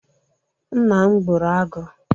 Nna m gburu agụ.